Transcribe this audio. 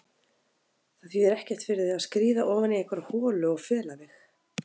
Það þýðir ekkert fyrir þig að skríða ofan í einhverja holu og fela þig.